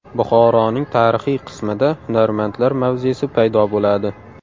Buxoroning tarixiy qismida hunarmandlar mavzesi paydo bo‘ladi.